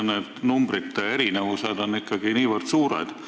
Need numbrite erinevused on ikkagi niivõrd suured.